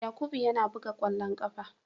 Yakubu yana buga kwallon kafa.